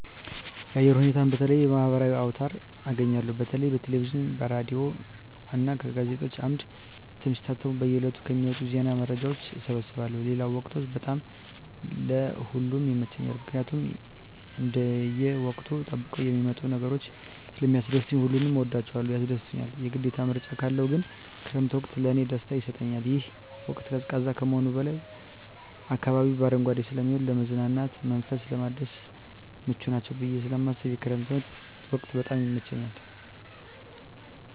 የአየር ሁኔታን በተለየዩ የማህበራዊ አውታር አገኛለሁ በተለይ በቴሌቪዥን ከሬዲዮ እና በጋዜጦች አምድ እትም ሲታተሙ በየ ዕለቱ ከሚወጡ ዜና መረጃዎች እሰበስባለሁ ሌለው ወቅቶች በጣም ለእ ሁሉም ይመቸኛል ምክኒያት እንደየ ወቅቱን ጠብቀው የሚመጡ ነገሮች ስለሚስደስቱኝ ሁሉንም እወዳቸዋለሁ ያስደስቱኛል የግዴታ ምርጫ ካለው ግን ክረምት ወቅት ለእኔ ደስታ ይሰጠኛል ይህ ወቅት ቀዝቃዛ ከመሆኑም በላይ አካባቢው በአረንጓዴ ስለሚሆን ለመዝናናት መንፈስን ለማደስ ምቹ ናቸው ብየ ስለማስብ የክረምት ወቅት በጣም ይመቸኛል።